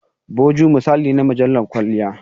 "Vogue" misali ne na mujallar kwalliya.